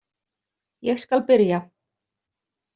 Ég skal byrja